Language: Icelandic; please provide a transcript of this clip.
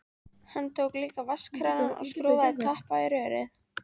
Hann tók líka vatnskranann og skrúfaði tappa í rörið.